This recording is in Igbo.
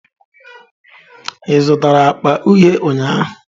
Ị zụtara akpa uhie ụnyahụ?